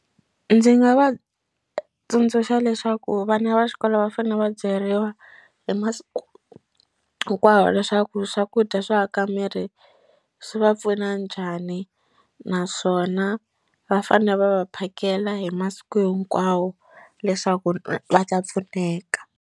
Ndzi nga va tsundzuxa leswaku vana va xikolo va fanele va byeriwa hi masiku hinkwawo leswaku swakudya swo aka miri swi va pfuna njhani naswona va fane va va phakela hi masiku hinkwawo leswaku va ta pfuneka.